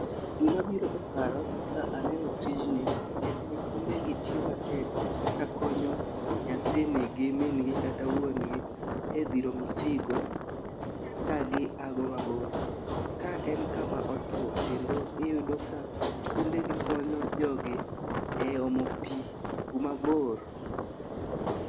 Gimabiro e paro ka aneno tijni en ni pundegi tiyo matek ka konyo nyathini gi min gi kata wuongi e dhiro msigo kagi ago mabor. Ka en kama otuwo kendo iyudo ka pundegi konyo jogi e omo pi kumabor.